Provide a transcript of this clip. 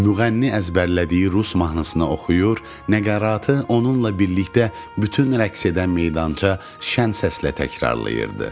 Müğənni əzbərlədiyi rus mahnısını oxuyur, nəqaratı onunla birlikdə bütün rəqs edən meydança şən səslə təkrarlayırdı.